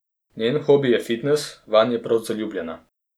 Njen hobi je fitnes, vanj je prav zaljubljena.